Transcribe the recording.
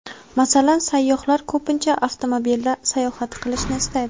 Masalan, sayyohlar ko‘pincha avtomobilda sayohat qilishni istaydi.